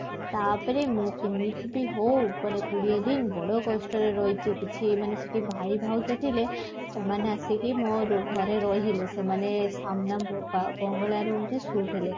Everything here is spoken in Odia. ତାପରେ ମୁଁ କେମିତି ବି ହଉ କୋଡିଏ ଦିନ ବଡ କଷ୍ଟରେ ରହିଛି କିଛି ମାନେ ସେଠି ଭାଇ ଭାଉଜ ଥିଲେ ସେମାନେ ଆସିକି ମୋ ର ଘରେ ରହିଲେ ସେମାନେ ବଙ୍ଗଳା room ରେ ଶୋଇଥିଲେ